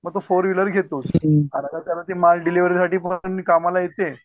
मग तो फोरविलर घेतोच अचानक माळ डिलेव्हरी साठी पण कामाला येते.